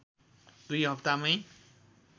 दुई हप्तामै